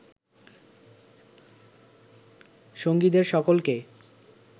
সঙ্গীদের সকলকে